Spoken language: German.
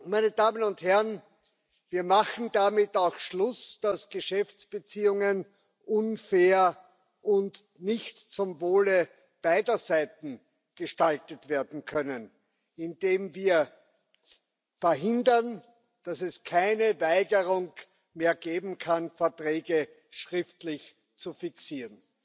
Meine Damen und Herren, wir machen auch damit Schluss, dass Geschäftsbeziehungen unfair und nicht zum Wohle beider Seiten gestaltet werden können, indem wir verhindern, dass es keine Weigerung mehr geben kann, Verträge schriftlich zu fixieren.